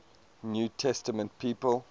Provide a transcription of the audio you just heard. new testament people